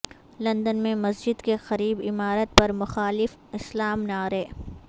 London میں مسجد کے قریب عمارت پر مخالف اسلام نعرے